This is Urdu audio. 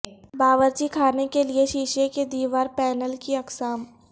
باورچی خانے کے لئے شیشے کے دیوار پینل کی اقسام